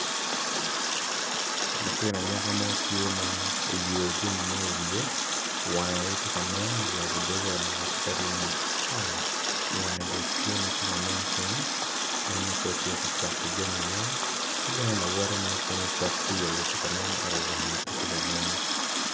Latin anyaka mo tye ma oyeyo jami mogo i wiye yabo doge wange tye ka nen matar wange tye ka nen kenyu en nen calo tye ka cato jami mo ki bene lawote wange pe tye ka nen